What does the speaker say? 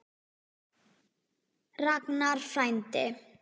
Ragnar frændi.